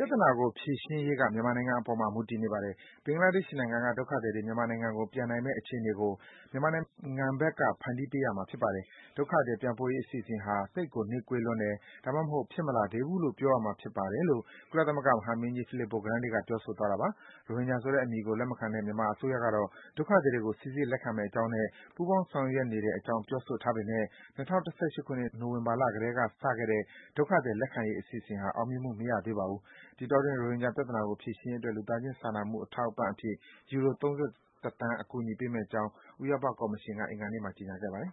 ြဿနာကို ဖြေရှင်းရေးက မြန်မာနိုင်ငံအပေါ်မှာ မူတည်နေပါတယ်။ ဘင်္ဂလာဒေ့ရှ်က ဒုက္ခသည်တွေ မြန်မာနိုင်ငံကို ပြန်နိုင်မယ့် အခြေအနေကို မြန်မာနိုင်ငံဘက်က ဖန်တီးပေးရမှာဖြစ်ပါတယ်။ ဒုက္ခသည် ပြန်ပို့ရေး အစီအစဉ်ဟာ သိပ်ကို နှေးကွေးလွန်းတယ်၊ ဒါမှမဟုတ် ဖြစ်မလာသေးဘူးလို့ ပြောရမှာဖြစ်ပါတယ်” လို့ ကုလသမဂ္ဂ မဟာမင်းကြီး Filippo Grandi က ပြောဆိုသွားတာပါ။ ရိုဟင်ဂျာဆိုတဲ့ အသုံးအနှုန်းကို လက်မခံတဲ့ မြန်မာအစိုးရကတော့ ဒုက္ခသည်တွေကို စိစစ်လက်ခံမယ့်အကြောင်းနဲ့ ပူးပေါင်း ဆောင်ရွက်နေတဲ့ အကြောင်း ပြောဆိုထားပေမဲ့ ၂၀၁၈ ခုနှစ် နိုဝင်ဘာ ကတည်းက စခဲ့တဲ့ ဒုက္ခသည် လက်ခံရေး အစီအစဉ်ဟာ အောင်မြင်မှု မရသေးပါဘူး။ ဒီအတောအတွင်း ရိုဟင်ဂျာ ပြဿနာကို ဖြေရှင်းရေး အတွက် လူသားချင်း စာနာမှု အထောက်အပံ့ အဖြစ်ယူရို ၃၁ သန်း ပေးအပ်မယ့်အကြောင်း ဥရောပ ကော်မရှင်က အင်္ဂါနေ့မှာ ကြေညာခဲ့ပါတယ်